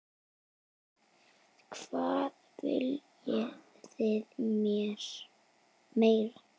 Hvað viljið þið meira?